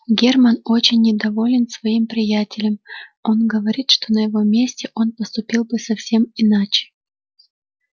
германн очень недоволен своим приятелем он говорит что на его месте он поступил бы совсем иначе